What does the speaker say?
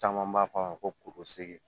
Caman b'a fɔ a ma ko segi